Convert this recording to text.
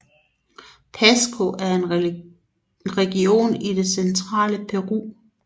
Pasco er en region i det centrale Peru